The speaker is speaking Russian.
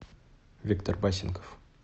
виктор васенков